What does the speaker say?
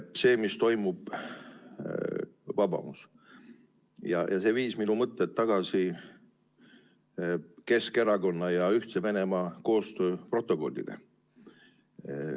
See, mis toimub Vabamus, viis minu mõtted tagasi Keskerakonna ja Ühtse Venemaa koostööprotokollile.